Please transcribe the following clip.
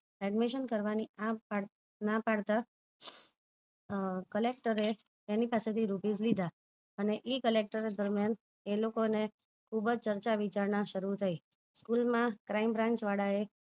Admission કરવાની ના પાડતા અ collecter એ rupies લીધા અને એ collecter દરમિયાન એ લોકો ને ખુબજ ચર્ચા વિચારણા શરુ થઇ સ્કૂલમાં crime branch વાળા એ